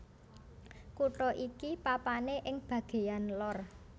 Kutha iki papané ing bagéyan lor